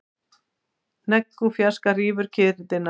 Hnegg úr fjarska rýfur kyrrðina.